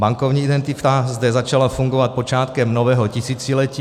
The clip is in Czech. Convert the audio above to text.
Bankovní identita zde začala fungovat počátkem nového tisíciletí.